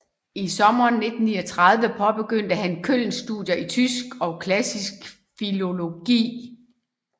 I sommeren 1939 påbegyndte han Köln studier i tysk og klassisk filologi